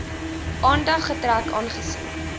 aandag getrek aangesien